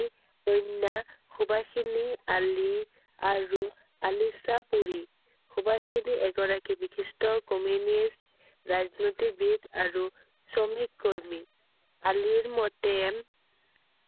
কন্য়া সুবাসিনী আলি আৰু আলিচাপৰি I সুবাসিনী এগৰাকী বিশিষ্ট communist ৰাজনীতিবিদ আৰু শ্ৰমিক কৰ্মী I আলি মতে